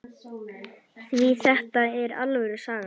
Því þetta er alvöru saga.